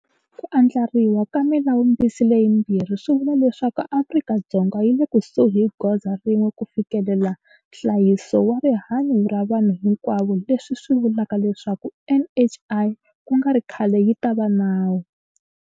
Ku andlariwa ka Milawumbisi leyimbirhi swi vula leswaku Afrika-Dzonga yi le kusuhi hi goza rin'we ku fikelela nhlayiso wa rihanyu ra vanhu hinkwavo leswi swi vulaka leswaku NHI ku nga ri khale yi ta va nawu.